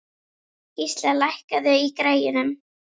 Gísla, lækkaðu í græjunum.